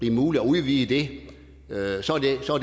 er muligt at udvide det